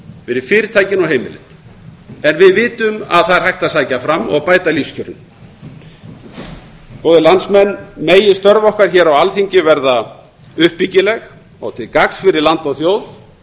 fyrir fyrirtækin og heimilin en við vitum að það er hægt að sækja fram og bæta lífskjörin góðir landsmenn megi störf okkar hér á alþingi verða uppbyggileg og til gagns fyrir land og þjóð